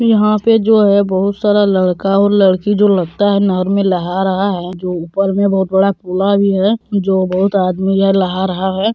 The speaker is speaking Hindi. यहाँ पे जो हैं बहुत सारा लड़का और लड़की जो लगता हैं नहर में लहा रहा हैं जो ऊपर में बहुत बड़ा खुला भी हैं जो बहुत आदमी हैं लहा रहा हैं।